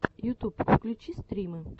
ютуб включи стримы